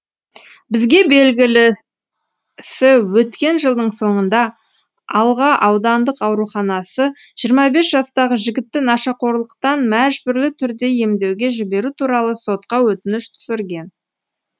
бізге белгілісі өткен жылдың соңында алға аудандық ауруханасы жиырма бес жастағы жігітті нашақорлықтан мәжбүрлі түрде емдеуге жіберу туралы сотқа өтініш түсірген